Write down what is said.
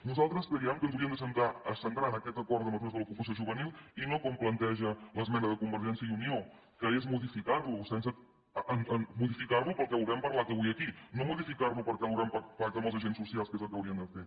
nosaltres creiem que ens hauríem de centrar en aquest acord de mesures de l’ocupació juvenil i no com planteja l’esmena de convergència i unió que és modificar lo pel que hem parlat avui aquí no modificar lo perquè l’haurem pactat amb els agents socials que és el que haurien de fer